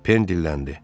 Pen dilləndi.